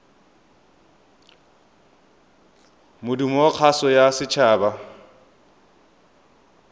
modumo wa kgaso ya setshaba